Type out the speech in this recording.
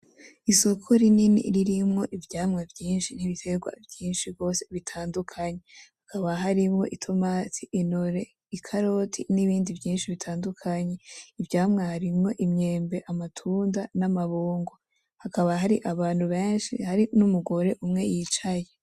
Isoko rinini ririmwo ivyamwa vyinshi n'ibiterwa vyinshi gose bitandukanye, hakaba harimwo itomati ,intore ,ikaroti n'ibindi vyinshi bitandukanye. Ivyamwa harimwo imyembe ,amatunda n' amabungo, hakaba har' abantu benshi hari n 'umugore umwe yicaye .